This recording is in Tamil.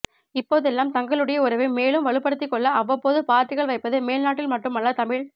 இப்போதெல்லாம் தங்களுடேய உறவை மேலும் வலுப்படுத்திக்கொள்ள அவ்வப்போது பார்ட்டிகள் வைப்பது மேல்நாட்டில் மட்டும் அல்ல தமிழ்